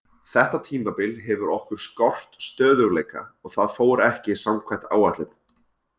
Þetta tímabil hefur okkur skort stöðugleika og það fór ekki samkvæmt áætlun.